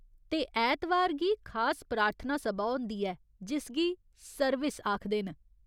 ते ऐतवार गी खास प्रार्थना सभा होंदी ऐ, जिसगी 'सर्विस' आखदे न।